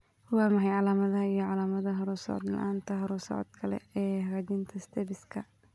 Waa maxay calaamadaha iyo calaamadaha horu-socod la'aanta horu-socodka leh ee hagaajinta stapeska?